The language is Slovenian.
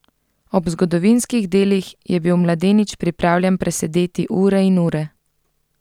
Ob zgodovinskih delih je bil mladenič pripravljen presedeti ure in ure.